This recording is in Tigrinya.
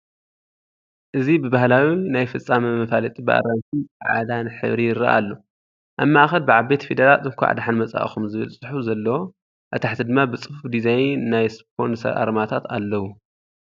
እዚ ብባህላዊ ናይ ፍጻመ መፋለጢ ብኣራንሺን ጻዕዳን ሕብሪ ይረአ ኣሎ። ኣብ ማእከል ብዓበይቲ ፊደላት 'እንቋዕ ደሓን መጻእኩም' ዝብል ጽሑፍ ዘለዎ፡ ኣብ ታሕቲ ድማ ብጽፉፍ ዲዛይን ናይ ስፖንሰር ኣርማታት ኣለው።